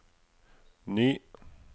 ny